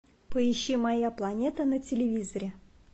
поищи моя планета на телевизоре